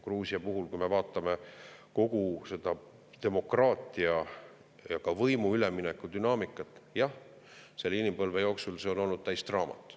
Gruusia puhul, kui me vaatame kogu seda demokraatia ja ka võimu ülemineku dünaamikat, siis jah, inimpõlve jooksul see on olnud täis draamat.